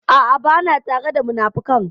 A'a, ba na tare da munafukan.